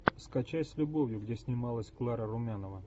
скачай с любовью где снималась клара румянова